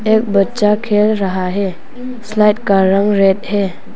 यह बच्चा खेल रहा है स्लाइड का रंग रेड है।